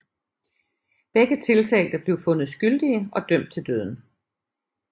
Begge tiltalte blev fundet skyldige og dømt til døden